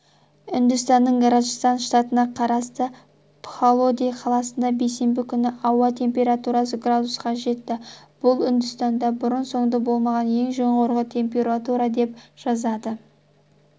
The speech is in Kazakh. үндістанның раджастан штатына қарасты пхалоди қаласында бейсенбі күні ауа температурасы градусқа жетті бұл үндістанда бұрын-соңды болмаған ең жоғары температура деп жазады